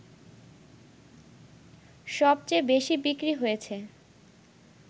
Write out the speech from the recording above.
সবচেয়ে বেশি বিক্রি হয়েছে